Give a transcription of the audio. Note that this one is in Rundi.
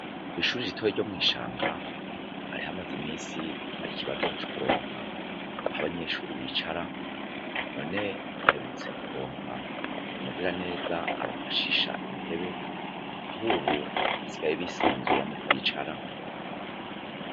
kw'ishure ritoya ryo mwishanga hari hamaze iminsi har'ikibazo co kuronka ah'abanyeshure bicara. None baherutse kuronka umugiraneza abafashisha intebe ah'ubu basigaye bisanzura mu kwicara.